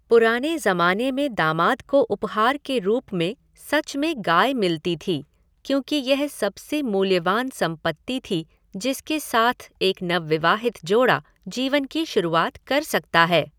पुराने जमाने में दामाद को उपहार के रूप में सच में गाय मिलती थी, क्योंकि यह सबसे मूल्यवान संपत्ति थी जिसके साथ एक नवविवाहित जोड़ा जीवन की शुरुआत कर सकता है।